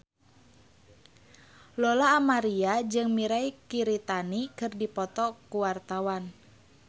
Lola Amaria jeung Mirei Kiritani keur dipoto ku wartawan